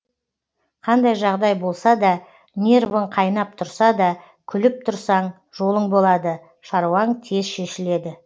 қандай жағдай болса да нервің қайнап тұрса да күліп тұрсаң жолың болады шаруаң тез шешіледі